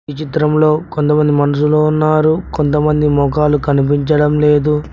ఈ చిత్రంలో కొంతమంది మనుషులు ఉన్నారు కొంతమంది మొకాలు కనిపించడం లేదు.